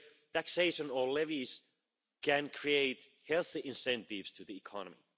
Taxation or levies can create healthy incentives to the economy.